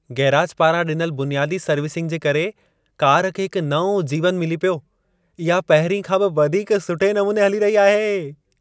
Garage पारां ॾिनल बुनियादी सर्विसिंग जे करे कार खे हिकु नओं जीवनु मिली पियो। इहा पहिरीं खां बि वधीक सुठे नमूने हली रही आहे।